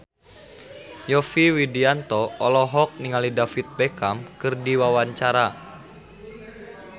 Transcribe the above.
Yovie Widianto olohok ningali David Beckham keur diwawancara